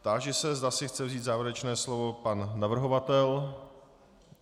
Táži se, zda si chce vzít závěrečné slovo pan navrhovatel.